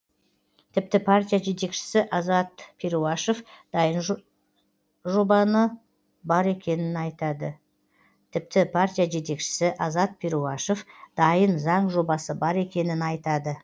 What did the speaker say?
тіпті партия жетекшісі азат перуашев дайын заң жобасы бар екенін айтады